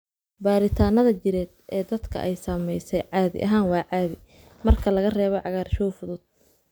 Baaritaannada jireed ee dadka ay saameysay caadi ahaan waa caadi, marka laga reebo cagaarshow fudud.